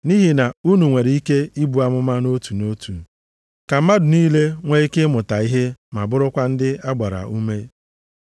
Nʼihi na unu nwere ike ibu amụma nʼotu nʼotu, ka mmadụ niile nwee ike ịmụta ihe ma bụrụkwa ndị a gbara ume.